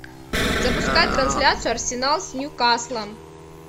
запускай трансляцию арсенал с ньюкаслом